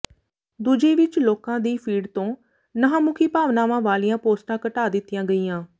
ਦੂਜੇ ਵਿੱਚ ਲੋਕਾਂ ਦੀ ਫੀਡ ਤੋਂ ਨਾਂਹਮੁਖੀ ਭਾਵਨਾਵਾਂ ਵਾਲੀਆਂ ਪੋਸਟਾਂ ਘਟਾ ਦਿੱਤੀਆਂ ਗਈਆਂ